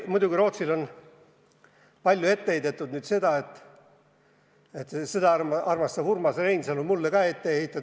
Muidugi on Rootsile palju ette heidetud seda, mida armastab Urmas Reinsalu mulle ka ette heita.